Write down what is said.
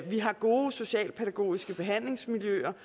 vi har gode socialpædagogiske behandlingsmiljøer